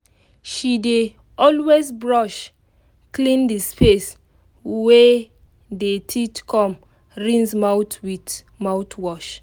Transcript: she dey always brush clean the space wey dey teeth com rinse mouth with mouthwash